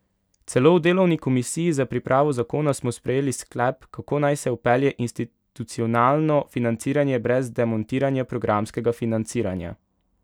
Celo v delovni komisiji za pripravo zakona smo sprejeli sklep, kako naj se vpelje institucionalno financiranje brez demontiranja programskega financiranja.